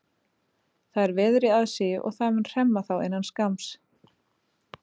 Það er veður í aðsigi og það mun hremma þá innan skamms.